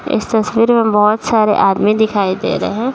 इस तस्वीर में बहुत सारे आदमी दिखाई दे रहे है ।